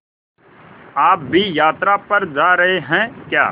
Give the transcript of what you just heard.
आप भी यात्रा पर जा रहे हैं क्या